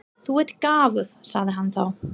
Þú ert gáfuð, sagði hann þá.